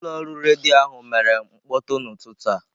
Ụlọ ọrụ redio ahụ mere mkpọtụ n'ụtụtụ a.